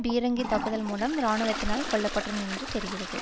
பீரங்கி தாக்குதல் மூலம் இராணுவத்தால் கொல்ல பட்டனர் என்று தெரிகிறறது